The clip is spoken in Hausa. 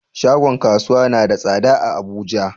Shagon kasuwa na da tsada a abuja